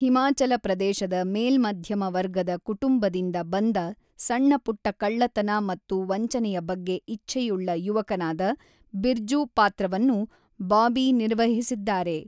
ಹಿಮಾಚಲ ಪ್ರದೇಶದ ಮೇಲ್ಮಧ್ಯಮ ವರ್ಗದ ಕುಟುಂಬದಿಂದ ಬಂದ ಸಣ್ಣ-ಪುಟ್ಟ ಕಳ್ಳತನ ಮತ್ತು ವಂಚನೆಯ ಬಗ್ಗೆ ಇಚ್ಛೆಯುಳ್ಳ ಯುವಕನಾದ ಬಿರ್ಜು ಪಾತ್ರವನ್ನು ಬಾಬಿ ನಿರ್ವಹಿಸಿದ್ದಾರೆ.